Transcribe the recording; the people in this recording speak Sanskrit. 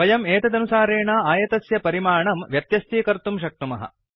वयम् एतदनुसारेण आयतस्य परिमाणं व्यत्यस्तीकर्तुं शक्नुमः